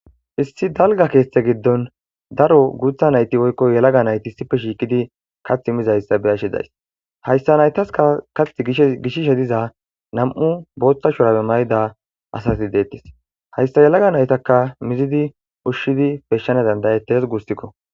issi dalga keeththe giddon daro guutha nayti woykko yalaga nayti sipe shiiqidi kath mizayssa beyashidays hayssa naytaska kath gishishe diza nam7u boothta shurabe mayda asasi deettis hayssa yalaga naytaka mizidi ushshidi peshshana dandayetees guussikko